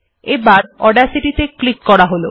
এবার অডাসিটি ত়ে ক্লিক করা হল